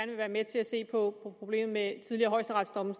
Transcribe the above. vil være med til at se på problemet med tidligere højesteretsdomme